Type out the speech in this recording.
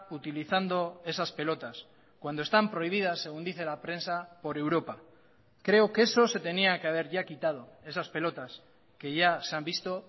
utilizando esas pelotas cuando están prohibidas según dice la prensa por europa creo que eso se tenía que haber ya quitado esas pelotas que ya se han visto